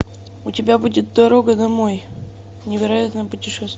у тебя будет дорога домой невероятное путешествие